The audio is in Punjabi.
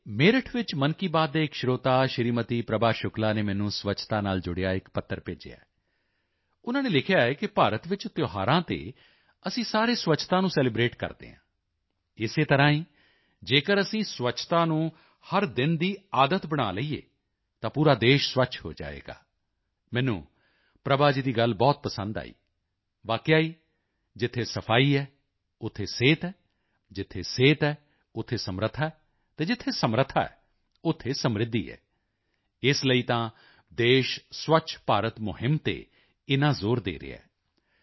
ਤੇ ਮੇਰਠ ਵਿੱਚ ਮਨ ਕੀ ਬਾਤ ਦੇ ਇੱਕ ਸਰੋਤਾ ਸ਼੍ਰੀਮਤੀ ਪ੍ਰਭਾ ਸ਼ੁਕਲਾ ਨੇ ਮੈਨੂੰ ਸਵੱਛਤਾ ਨਾਲ ਜੁੜਿਆ ਇੱਕ ਪੱਤਰ ਭੇਜਿਆ ਹੈ ਉਨ੍ਹਾਂ ਨੇ ਲਿਖਿਆ ਹੈ ਕਿ ਭਾਰਤ ਵਿੱਚ ਤਿਉਹਾਰਾਂ ਤੇ ਅਸੀਂ ਸਾਰੇ ਸਵੱਛਤਾ ਨੂੰ ਸੈਲੀਬ੍ਰੇਟ ਕਰਦੇ ਹਾਂ ਇਸੇ ਤਰ੍ਹਾਂ ਹੀ ਜੇਕਰ ਅਸੀਂ ਸਵੱਛਤਾ ਨੂੰ ਹਰ ਦਿਨ ਦੀ ਆਦਤ ਬਣਾ ਲਈਏ ਤਾਂ ਪੂਰਾ ਦੇਸ਼ ਸਵੱਛ ਹੋ ਜਾਏਗਾ ਮੈਨੂੰ ਪ੍ਰਭਾ ਜੀ ਦੀ ਗੱਲ ਬਹੁਤ ਪਸੰਦ ਆਈ ਵਾਕਈ ਹੀ ਜਿੱਥੇ ਸਫ਼ਾਈ ਹੈ ਉੱਥੇ ਹੀ ਸਿਹਤ ਹੈ ਜਿੱਥੇ ਸਿਹਤ ਹੈ ਉੱਥੇ ਸਮਰੱਥਾ ਹੈ ਅਤੇ ਜਿੱਥੇ ਸਮਰੱਥਾ ਹੈ ਉੱਥੇ ਸਮ੍ਰਿੱਧੀ ਹੈ ਇਸ ਲਈ ਤਾਂ ਦੇਸ਼ ਸਵੱਛ ਭਾਰਤ ਮੁਹਿੰਮ ਤੇ ਏਨਾ ਜ਼ੋਰ ਦੇ ਰਿਹਾ ਹੈ